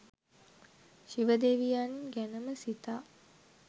ශිව දෙවියන් ගැනම සිතා